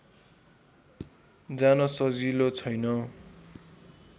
जान सजिलो छैन